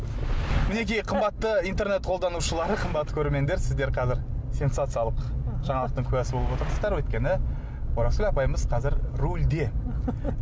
мінекей қымбатты интернет қолданушылары қымбатты көрермендер сіздер қазір сенсациялық жаңалықтын куәсі болып отырсыздар өйткені оразгүл апайымыз қазір рульде